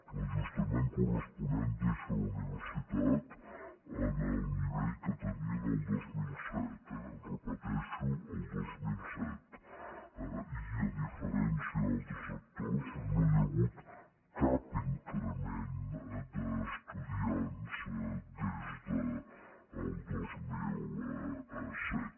l’ajustament corresponent deixa la universitat en el nivell que tenia el dos mil set eh ho repeteixo el dos mil set i a diferència d’altres sectors no hi ha hagut cap increment d’estudiants des del dos mil set